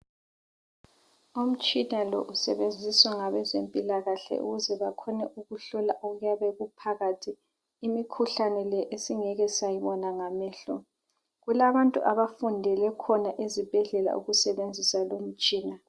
Umtshina lo usetshenziswa ngabezempilakahle ukuze bakhone ukuhlola okuyabe kuphakathi. Imikhuhlane le esingeke sayibona ngamehlo. Kulabantu abafundele khona ezibhedlela ukusebenzisa le imitshina.